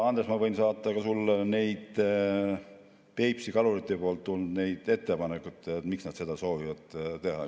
Andres, ma võin saata ka sulle neid Peipsi kaluritelt tulnud ettepanekuid, miks nad seda soovivad teha.